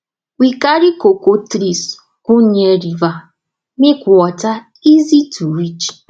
we carry cocoa trees go near river make water easy to reach